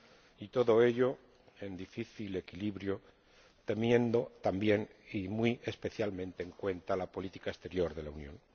Y todo ello en difícil equilibrio, teniendo también y muy especialmente en cuenta la política exterior de la Unión.